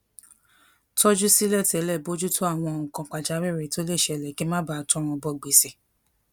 tójú sílè télè bójú tó àwọn nǹkan pàjáwìrì tó lè ṣẹlè kí n má bàa tọrùn bọ gbèsè